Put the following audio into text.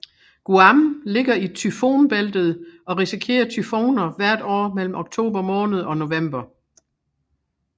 Guam ligger i tyfonbæltet og risikerer tyfoner hvert år mellem oktober måned og november